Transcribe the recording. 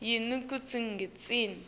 yini kutsi ngitsini